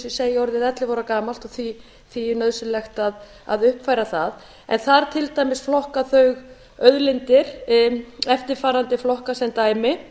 segi orðið ellefu ára gamalt og því er nauðsynlegt að uppfæra það en þar til dæmis flokka þau auðlindir í eftirfarandi flokka sem dæmi